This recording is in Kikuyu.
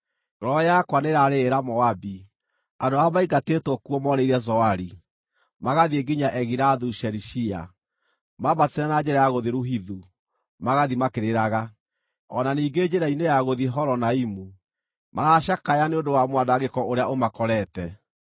Ngoro yakwa nĩĩrarĩrĩra Moabi, andũ arĩa maingatĩtwo kuo morĩire Zoari, magathiĩ nginya Egilathu-Shelishiya. Mambatĩte na njĩra ya gũthiĩ Luhithu, magathiĩ makĩrĩraga; o na ningĩ njĩra-inĩ ya gũthiĩ Horonaimu, maracakaya nĩ ũndũ wa mwanangĩko ũrĩa ũmakorete.